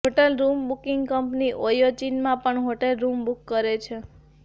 hotel room booking company Oyo ચીનમાં પણ hotel room book કરે છે